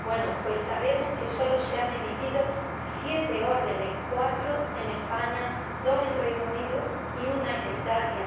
Bueno, pues sabemos que solo se han emitido siete órdenes cuatro en España, dos en Reino Unido y una en Italia.